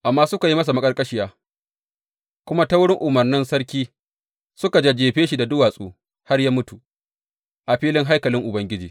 Amma suka yi masa maƙarƙashiya, kuma ta wurin umarnin sarki suka jajjefe shi da duwatsu har ya mutu a filin haikalin Ubangiji.